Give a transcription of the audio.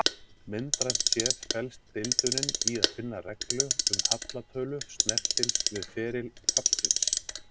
Myndrænt séð felst deildunin í að finna reglu um hallatölu snertils við feril fallsins.